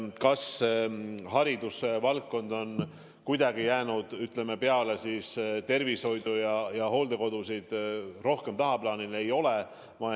Kas haridusvaldkond on tervishoiu ja hooldekodude kõrval kuidagi tagaplaanile jäänud?